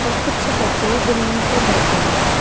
और कुछ बच्चे जमीन पर बैठे हुए हैं।